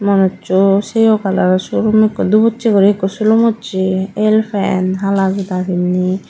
manuchu sheyo colouro sulum ikko dhibuchi guri ikko silum uche el pant hala joda pinne.